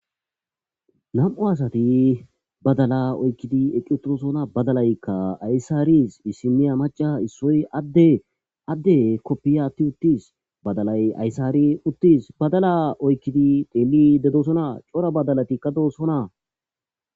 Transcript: nam7u asati badala oykkidi equtorosona badalaykka aysaaris issimiya maca issoy adde adde koppiyati uttis badalay aysaari uttis badala oykkidi deeli dedosona cora badalatikka doosona